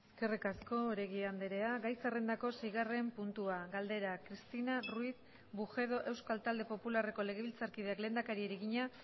eskerrik asko oregi andrea gai zerrendako seigarren puntua galdera cristina ruiz bujedo euskal talde popularreko legebiltzarkideak lehendakariari egina